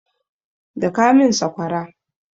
Daka min sakwara!